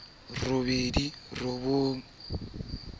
dipampiring e ne e le